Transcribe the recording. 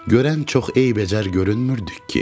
Görən çox eybəcər görünmürdük ki?